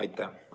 Aitäh!